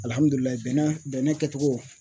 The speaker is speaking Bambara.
bɛnɛ kɛcogo